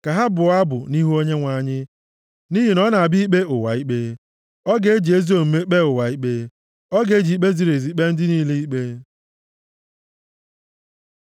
ka ha bụọ abụ nʼihu Onyenwe anyị, nʼihi na ọ na-abịa ikpe ụwa ikpe. Ọ ga-eji ezi omume kpee ụwa ikpe. Ọ ga-eji ikpe ziri ezi kpee ndị niile ikpe.